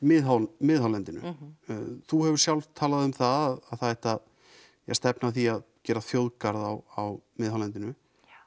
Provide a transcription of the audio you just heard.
miðhálendinu þú hefur sjálf talað um það að það ætti að stefna að því að gera þjóðgarða á miðhálendinu